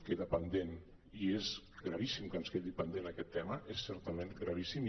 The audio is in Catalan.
queda pendent i és gravíssim que ens quedi pendent aquest tema és certament gravíssim